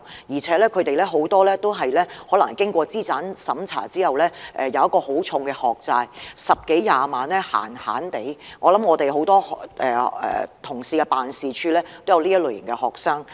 而且，很多年輕人經資產審查後，要負上很沉重的學債，動輒也要十多二十萬元，我相信很多同事的辦事處也有這類型的學生。